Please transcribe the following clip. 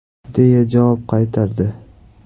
!” deya javob qaytardi.